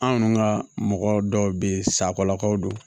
Anw ka mɔgɔ dɔw be yen sakolakaw do